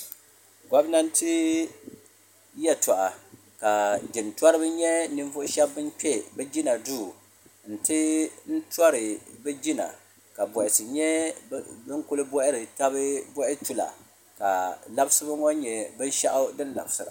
Gomnanti yeltɔɣa ka jintoriba nyɛ ninvuɣu sheba ban kpe bɛ jina duu nti n tori bɛ jina ka bohasi nyɛ din kuli bohari taba boha tula ka labisibu ŋɔ nyɛ binshaɣu din labisira.